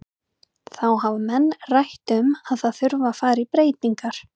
Þá hafa menn rætt um að það þurfi að fara í breytingar.